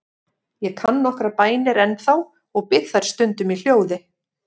Ég kann nokkrar bænir ennþá og bið þær stundum í hljóði.